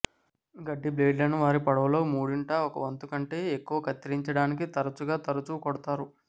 గడ్డి బ్లేడ్లను వారి పొడవులో మూడింట ఒక వంతు కంటే ఎక్కువ కత్తిరించడానికి తరచుగా తరచూ కొడతారు